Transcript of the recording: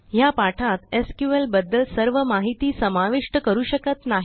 या पाठात SQLबद्दल सर्व माहिती समाविष्ट करू शकत नाही